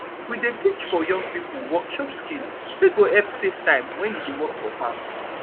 we dey teach for young pipo work shop skill wey go help safe time wen u dey work for farm